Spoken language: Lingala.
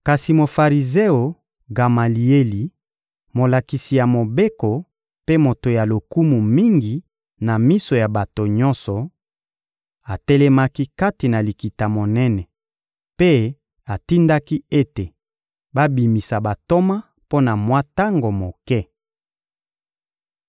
Kasi Mofarizeo Gamalieli, molakisi ya Mobeko mpe moto ya lokumu mingi na miso ya bato nyonso, atelemaki kati na Likita-Monene mpe atindaki ete babimisa bantoma mpo na mwa tango moke.